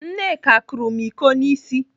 Nneka kụrụ m íkó n'ịsị.